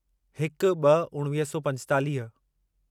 हिक ब॒ उणिवीह सौ पंजेतालीह